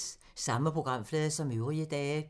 Samme programflade som øvrige dage